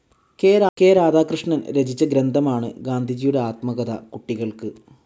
K Radhakrishnan രചിച്ച ഗ്രന്ഥമാണ് ഗാന്ധിജിയുടെ ആത്മകഥ കുട്ടികൾക്ക്.